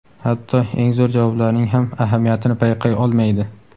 hatto eng zo‘r javoblarning ham ahamiyatini payqay olmaydi.